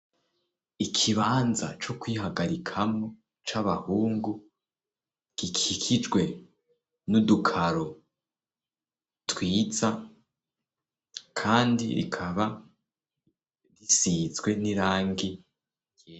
Ikibanza co kwihagarikamo c'abahungu gikikijwe n'udukaro twiza kandi rikaba risizwe n'irangi ryera.